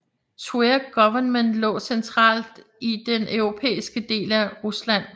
Tver Guvernement lå centralt in den europæiske del af Rusland